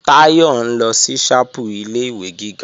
Táyọ̀ ń lọ sí ṣápù ilé-ìwé gíga